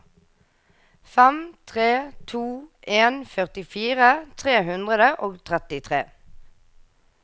fem tre to en førtifire tre hundre og trettitre